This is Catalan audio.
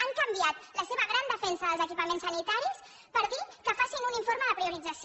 han canviat la seva gran defensa dels equipaments sanitaris per dir que facin un informe de priorització